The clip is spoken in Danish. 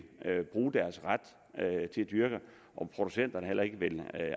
bruge deres ret til at dyrke og at producenterne heller ikke vil